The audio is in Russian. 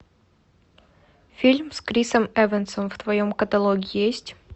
фильм с крисом эвансом в твоем каталоге есть